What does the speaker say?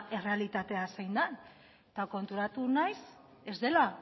errealitatea zein den eta konturatu naiz